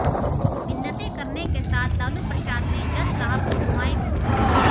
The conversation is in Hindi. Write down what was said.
मिन्नतें करने के साथ लालू प्रसाद ने जज साहब को दुआएं भी दीं